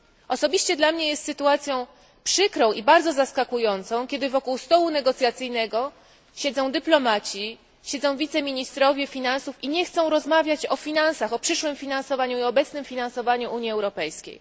Osobiście dla mnie jest sytuacją przykrą i bardzo zaskakującą, kiedy wokół stołu negocjacyjnego siedzą dyplomaci, siedzą wiceministrowie finansów i nie chcą rozmawiać o finansach, o przyszłym finansowaniu i o obecnym finansowaniu Unii Europejskiej.